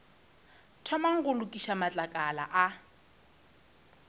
thomang go lokiša matlakala a